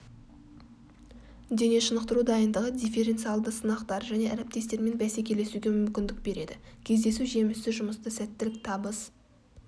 дене шынықтыру дайындығы дифференциалды сынақтар және әріптестермен бәсекелесуге мүмкіндік береді кездесу жемісті жұмыста сәттілік табыс